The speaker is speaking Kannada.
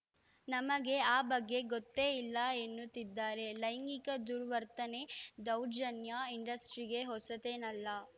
ನಮಗೆ ಆ ಬಗ್ಗೆ ಗೊತ್ತೇ ಇಲ್ಲ ಎನ್ನುತ್ತಿದ್ದಾರೆ ಲೈಂಗಿಕ ದುರ್ವರ್ತನೆ ದೌರ್ಜನ್ಯ ಇಂಡಸ್ಟ್ರಿಗೆ ಹೊಸತೇನಲ್ಲ